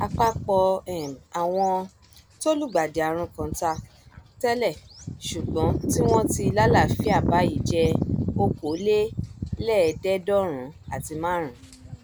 àpapọ um àwọn tó lùgbàdì àrùn kọńtà tẹlẹ ṣùgbọn um tí wọn ti lálàáfíà báyìí jẹ okòóléèédéédọrùn àti márùnún